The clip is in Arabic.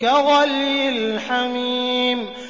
كَغَلْيِ الْحَمِيمِ